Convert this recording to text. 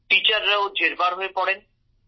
টিচাররাও জেরবার হয়ে পড়েন